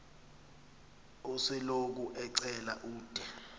osoloko ecela ude